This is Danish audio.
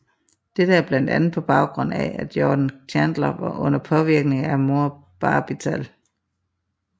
Dette er blandt andet på baggrund af at Jordan Chandler var under påvirkning af amorbarbital